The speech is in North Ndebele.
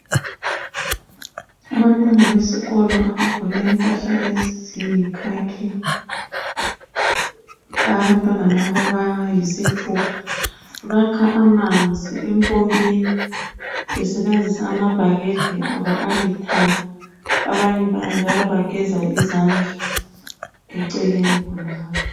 Abantwana besikolo abagqoke impahla ezilithanga. Abantwana laba bayisithupa bakha amanzi empompini besebenzisa amabhakede abo alithanga abanye njalo bageza izandla eceleni khonalapho